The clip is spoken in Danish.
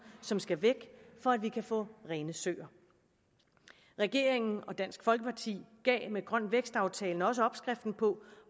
som skal væk for at vi kan få rene søer regeringen og dansk folkeparti gav med grøn vækst aftalen også opskriften på